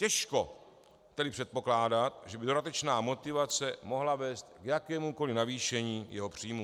Těžko tedy předpokládat, že by dodatečná motivace mohla vést k jakémukoli navýšení jeho příjmů.